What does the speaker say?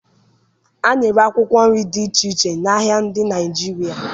A na-ere akwụkwọ nri dị iche iche n'ahịa ndị Naịjirịa